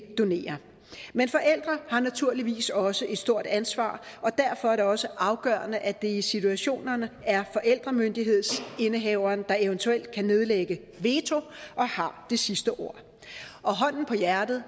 donere men forældre har naturligvis også et stort ansvar og derfor er det også afgørende at det i situationerne er forældremyndighedsindehaveren der eventuelt kan nedlægge veto og har det sidste ord og hånden på hjertet